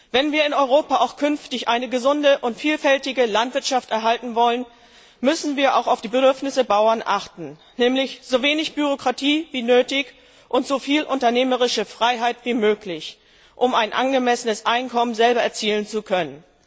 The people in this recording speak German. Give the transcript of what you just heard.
Wenn wir in Europa auch künftig eine gesunde und vielfältige Landwirtschaft erhalten wollen, müssen wir auch auf die Bedürfnisse der Bauern achten, nämlich so wenig Bürokratie wie nötig und so viel unternehmerische Freiheit wie möglich, um ein angemessenes Einkommen selber erzielen zu können.